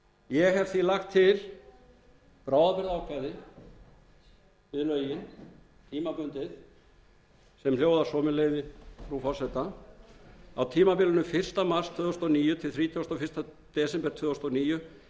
ég hef því lagt til bráðabirgðaákvæði við lögin tímabundið sem hljóða svo með leyfi hæstvirts forseta á tímabilinu fyrsta mars tvö þúsund og níu til þrítugasta og fyrsta desember tvö þúsund og níu